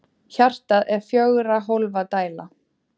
Hjartað er fjögurra hólfa dæla.